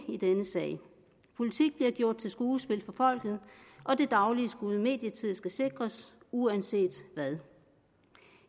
i denne sag politik bliver gjort til skuespil for folket og det daglige skud medietid skal sikres uanset hvad